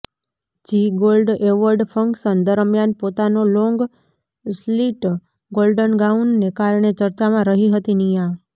Zee Gold award function દરમિયાન પોતાનો long slit golden ગાઉનને કારણે ચર્ચામાં રહી હતી નિયા